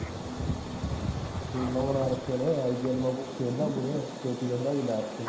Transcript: ਟੀਮਾਂ ਬਣਾ ਰੱਖੀਆਂ i p l ਵਾਂਗੂ, ਖੇਡਦਾ ਮੂਰੇ, ਚੋਟੀ ਦੇ ਖਿਡਾਰੀ ਲਾ ਰੱਖੇ ਨੇ